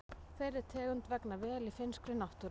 Þeirri tegund vegnar vel í finnskri náttúru.